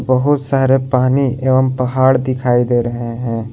बहोत सारे पानी एवं पहाड़ दिखाई दे रहे हैं।